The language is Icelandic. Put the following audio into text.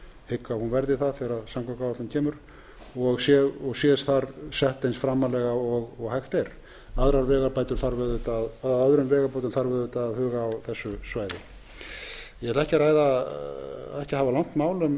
hygg að hún verði það þegar sú áætlun kemur og sé þar sett eins framarlega og hægt er öðrum vegabótum þarf auðvitað að huga að á þessu svæði ég ætla ekki að hafa langt mál um